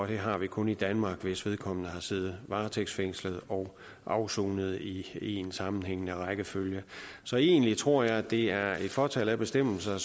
det har vi kun i danmark hvis vedkommende har siddet varetægtsfængslet og afsonet i én sammenhængende rækkefølge så egentlig tror jeg at det er et fåtal af bestemmelser